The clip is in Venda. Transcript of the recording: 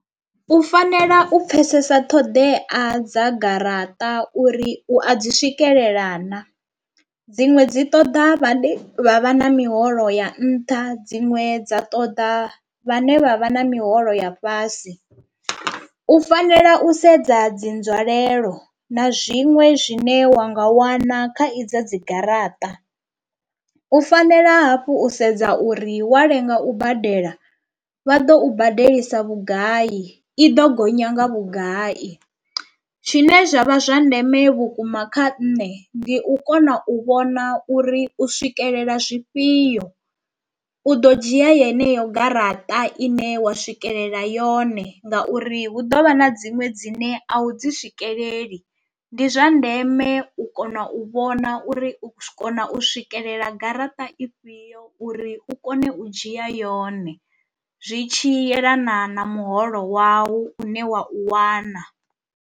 U fanela u pfesesa ṱhoḓea dza garaṱa uri u a dzi swikelela na, dziṅwe dzi ṱoḓa vhane vha vha na miholo ya nṱha dziṅwe dza ṱoḓa vhane vha vha na miholo ya fhasi, u fanela u sedza dzi nzwalelo na zwiṅwe zwine wa nga wana kha idzo dzi garaṱa, u fanela hafhu u sedza uri wa lenga u badela vha ḓo u badelisa vhugai iḓo gonya nga vhugai. Tshine zwa vha zwa ndeme vhukuma kha nṋe ndi u kona u vhona uri u swikelela zwifhio, u ḓo dzhia heneyo garaṱa ine wa swikelela yone ngauri hu ḓovha na dziṅwe dzine a u dzi swikeleli. Ndi zwa ndeme u kona u vhona uri u kona u swikelela garaṱa i fhio uri u kone u dzhia yone zwi tshi yelana na muholo wawu une wa u wana.